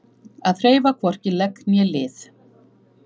Að hreyfa hvorki legg né lið